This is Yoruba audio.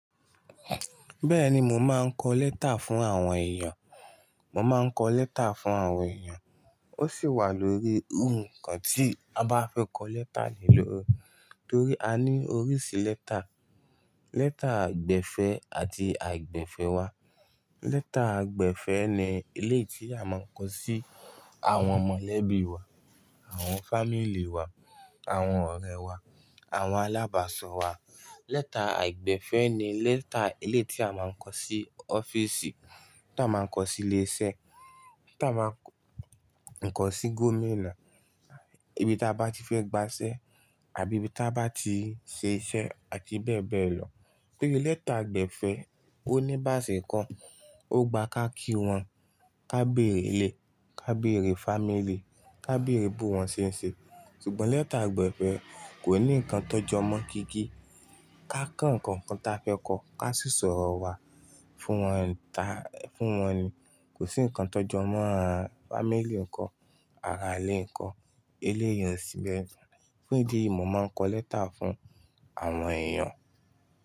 Bẹ́ẹ̀ni mo máa ń kọ lẹ́tà fún àwọn èèyàn. Mo máa ń kọ lẹ́tà fún àwọn èèyàn. Ó sì wà lórí nnkan tí a bá fẹ́ kọ lẹ́tà lè lori. Torí a ní oríṣi lẹ́tà. Lẹ́tà àgbẹ̀fẹ̀ àti àìgbẹ̀fẹ̀ wà. Lẹ́tà àgbẹ̀fẹ̀ ni eléyi tí a máa ń kọ sí àwọn mọ̀lẹ́bí wa, àwọn fámílíì wà, àwọn ọ̀rẹ́ wà, àwọn alábàsọ̀ wà. Lẹ́tà àìgbẹ̀fẹ̀ ni lẹ́tà eleyi tí a máa ń kọ sí ọ́fíìsì, tí a máa ń kọ sílé iṣẹ́, tí a máa ń kọ sí gómìnà, ibi tí a bá ti fẹ́ gba iṣẹ́ àbí ibi tí a bá ti ṣe iṣẹ́ àti bẹ́ẹ̀ bẹ́ẹ̀ lọ. Torí lẹ́tà àgbẹ̀fẹ̀ ó ní ìbáṣe ko, ó gba ká kí wọn, ká bèrè ilé, ká bèrè fámílíì, ká bèrè bo wọn ṣe é ṣe. Sùgbọ́n lẹ́tà àgbẹ̀fẹ̀ kò ní ǹkan tọ́ jọmọ kiki. Ká kọ ǹkan kan ta fẹ́ kọ, ká sísọ̀rọ̀ wa fún wọn ta, fún wọn ni. Kò sí ǹkan tọ́ jọmọ a fámílíì nko, ara ilé nko, eleyi o síbẹ̀. Fún ìdí eyìí, mo máa ń kọ lẹ́tà fún àwọn èèyàn.